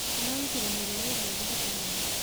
ararutire mwĩrĩ wa ithe thibitarĩ-inĩ